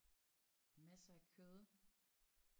Masser af kød